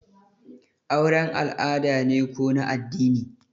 auren al'ada ne ko na addini?